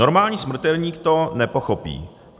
Normální smrtelník to nepochopí.